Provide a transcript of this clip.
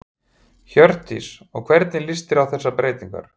Hjördís: Og hvernig líst þér á þessar breytingar?